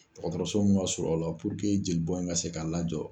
Dɔgɔtɔrɔso mun ka surun aw la puruke jeli bɔ in ka se ka lajɔ.